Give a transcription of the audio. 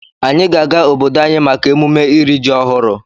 Anyị ga-aga obodo anyị maka emume iri ji ọhụrụ.